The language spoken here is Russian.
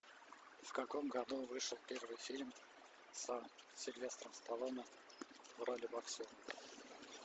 в каком году вышел первый фильм со сильвестром сталлоне в роли боксера